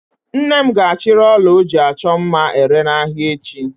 Nne m ga-achịrị ọla ọ ji achọ mma ere n'ahịa echi.